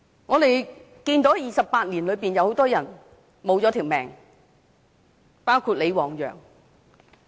在這28年間，很多人失去了性命，包括李旺陽。